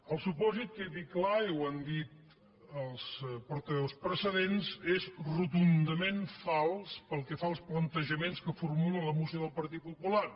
el supòsit que quedi clar i ho han dit els portaveus precedents és rotundament fals pel que fa als plantejaments que formula la moció del partit popular